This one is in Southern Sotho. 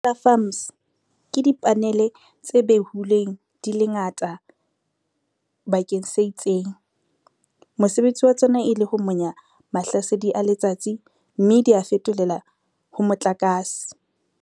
Di-solar farms ke di-panel-e tse behuleng di le ngata bakeng se itseng. Mosebetsi wa tsona e le ho monya mahlasedi a letsatsi mme dia fetolela ho motlakase.